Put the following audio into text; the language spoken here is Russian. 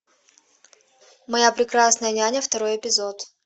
моя прекрасная няня второй эпизод